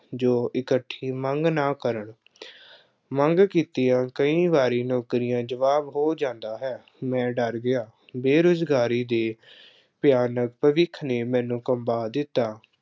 ਜੋ ਇਕੱਠੀ ਮੰਗ ਨਾ ਕਰਨ। ਮੰਗ ਕੀਤਿਆਂ ਕਈ ਵਾਰੀ ਨੌਕਰੀਆਂ ਜਵਾਬ ਹੋ ਜਾਂਦਾ ਹੈ। ਮੈਂ ਡਰ ਗਿਆ। ਬੇਰੁਜ਼ਗਾਰੀ ਦੇ ਭਿਆਨਕ ਭਵਿੱਖ ਨੇ ਮੈਨੂੰ ਕੰਬਾ ਦਿੱਤਾ